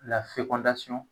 Lafekɔndasɔn